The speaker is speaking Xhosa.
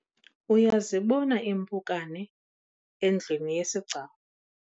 uyazibona impukane endlwini yesigcawu?